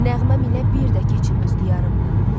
Nəğmə milə bir də keçim öz diyarımdan.